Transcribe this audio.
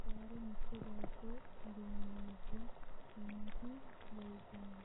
Qaarre mitto bayiichcho duunante nootti leinnonna